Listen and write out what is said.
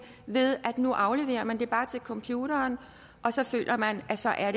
ved at nu afleverer man det bare til computeren og så føler man det altså er